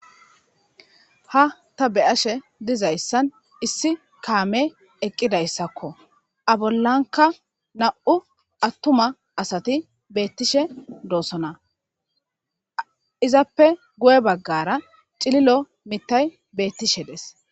ha ta beyashe dizayssan issi kaame eqqidayssakko abollanka na7u attuma asati beettishe doossona izappe guye baggara cililo mittay beettishe des